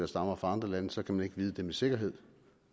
stammer fra andre lande så kan man ikke vide det med sikkerhed